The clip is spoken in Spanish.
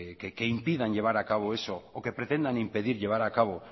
que impidan llevar a cabo eso o que pretendan impedir llevar a cabo